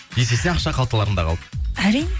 есесіне ақша қалталарыңда қалды әрине